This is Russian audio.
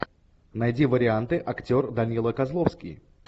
найди варианты актер данила козловский